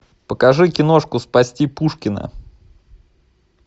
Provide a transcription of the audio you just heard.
покажи киношку спасти пушкина